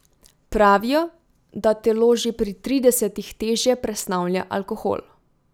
Pravijo, da telo že pri tridesetih težje presnavlja alkohol.